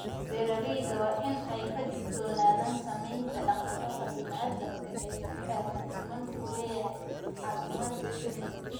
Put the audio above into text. Beeralayda waa in ay ka digtoonaadaan saameynta dhaqdhaqaaqa bani'aadamka ee ku xeeran finan ku leeyahay caafimaadka shinnida.